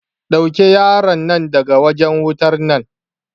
Ɗauke yaron nan daga wajen wutar nan.